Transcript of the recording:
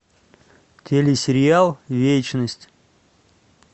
телесериал вечность